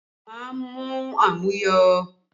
Má mu àmuyó!